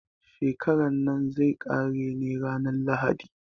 Shekaran nan zai ƙare ne ranar lahadi.